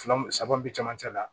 Fila saba bi cɛmancɛ la